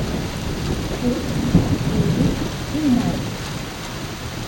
Kurt, Evi in Markus.